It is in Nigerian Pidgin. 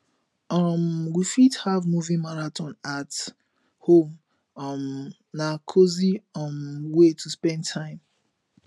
um we fit have movie marathon at home um na cozy um way to spend time